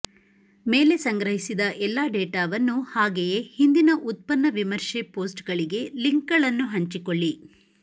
ಮೇಲೆ ಸಂಗ್ರಹಿಸಿದ ಎಲ್ಲಾ ಡೇಟಾವನ್ನು ಹಾಗೆಯೇ ಹಿಂದಿನ ಉತ್ಪನ್ನ ವಿಮರ್ಶೆ ಪೋಸ್ಟ್ಗಳಿಗೆ ಲಿಂಕ್ಗಳನ್ನು ಹಂಚಿಕೊಳ್ಳಿ